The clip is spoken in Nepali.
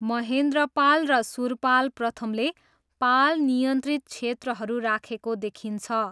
महेन्द्रपाल र सुरपाल प्रथमले पाल नियन्त्रित क्षेत्रहरू राखेको देखिन्छ।